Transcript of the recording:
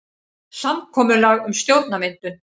Samkomulag um stjórnarmyndun